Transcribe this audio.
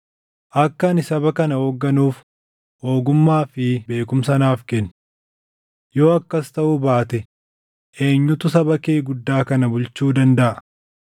Akka ani saba kana hoogganuuf ogummaa fi beekumsa naaf kenni. Yoo akkas taʼuu baate eenyutu saba kee guddaa kana bulchuu dandaʼa?”